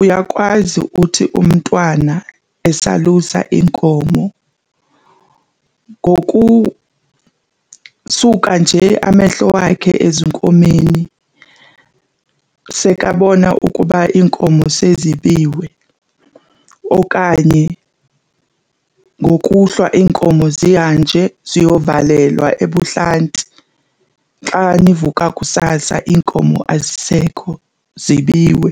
Uyakwazi uthi umntwana esalusa iinkomo ngokusuka nje amehlo wakhe ezinkomeni sekabona ukuba iinkomo sezibiwe okanye ngokuhlwa iinkomo zihanje ziyovalelwa ebuhlanti, xa nivuka kusasa iinkomo azisekho zibiwe.